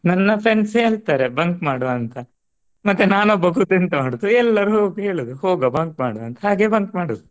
ನನ್ನ friends ಹೇಳ್ತಾರೆ bunk ಮಾಡು ಅಂತಾ ಮತ್ತೆ ನಾನೊಬ್ಬ ಕೂತು ಎಂತ ಮಾಡುದು ಎಲ್ಲರೂ ಹೋಗು ಹೇಳುದು ಹೋಗುವ bunk ಮಾಡುವ ಅಂತ. ಹೇಗೆ bunk ಮಾಡುದು